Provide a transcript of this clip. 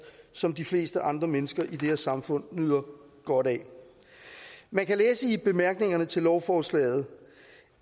som de fleste andre mennesker i det her samfund nyder godt af man kan læse i bemærkningerne til lovforslaget